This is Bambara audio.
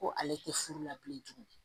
Ko ale tɛ furu la bilen tugun